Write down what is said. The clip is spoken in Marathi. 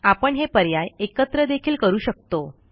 आपण हे पर्याय एकत्र देखील करू शकतो